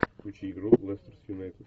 включи игру лестер с юнайтед